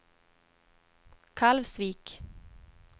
Kalvsvik